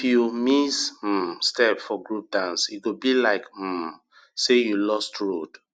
if you miss um step for group dance e go be like um say you lost road